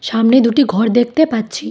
সামনে দুটি ঘর দেখতে পাচ্ছি।